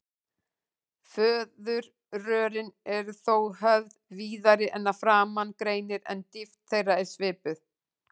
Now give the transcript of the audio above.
Fóðurrörin eru þá höfð víðari en að framan greinir, en dýpt þeirra er svipuð.